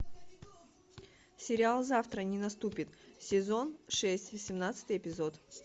сериал завтра не наступит сезон шесть восемнадцатый эпизод